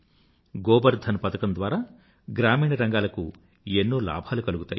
గోబర్ ధన్ పథకం ద్వారా గ్రామీణరంగాలకు ఎన్నో లాభాలు కలుగుతాయి